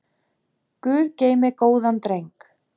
Guð geymi góðan dreng.